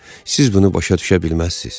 Siz bunu başa düşə bilməzsiniz.